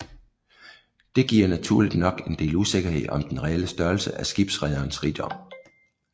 Det giver naturligt nok en del usikkerhed om den reelle størrelse af skibsrederens rigdom